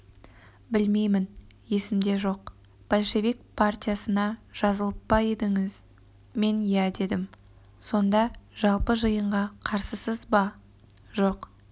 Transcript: білмеймін есімде жоқ большевик партиясына жазылып па едіңіз мен иә дедім сонда жалпы жиынға қарсысыз ба жоқ